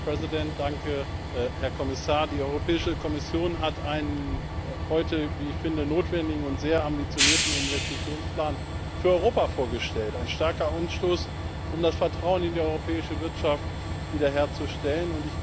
Frau Präsidentin, Herr Kommissar! Die Europäische Kommission hat heute einen, wie ich finde, notwendigen und sehr ambitionierten Investitionsplan für Europa vorgestellt, ein starker Anstoß, um das Vertrauen in die europäische Wirtschaft wiederherzustellen.